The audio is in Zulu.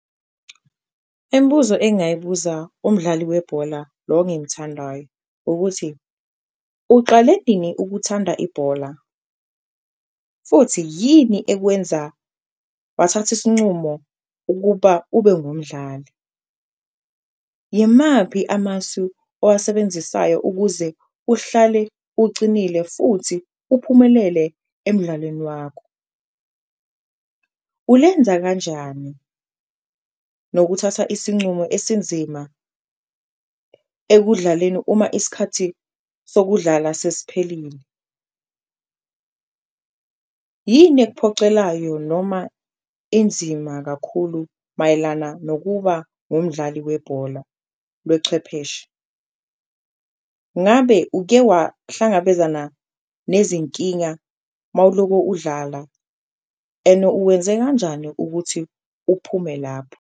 Imbuzo engayibuza umdlali webhola lo engimthandayo ukuthi, uqale nini ukuthanda ibhola futhi yini ekwenza wathatha isincumo ukuba ube ngumdlali? Yimaphi amasu owasebenzisayo ukuze uhlale ucinile futhi uphumelele emdlalweni wakho? Ulenza kanjani nokuthatha isincumo esinzima ekudlaleni uma isikhathi sokudlala sesiphelile? Yini okuphocelayo noma enzima kakhulu mayelana nokuba umdlali webhola lwechwepheshe? Ngabe uke wahlangabezana nezinkinga mawuloko udlala and uwenze kanjani ukuthi uphume lapho?